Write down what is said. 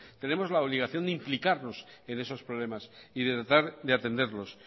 tenemos la obligación de implicarnos en esos problemas y de tratar de atenderlos